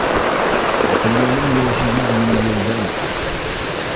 Topilmaning yoshi yuz ming yildan ortiq.